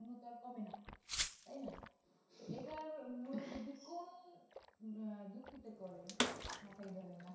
স্বর্ণতো আর কমে না তাইনা এটার মূল বৃদ্ধি কোন আহ যুক্তিতে করে মাথায় ধরে না